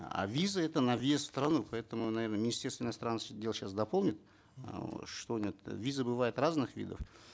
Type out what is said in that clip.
а визы это на въезд в страну поэтому наверно министерство иностранных дел сейчас дополнит э что нет визы бывают разных видов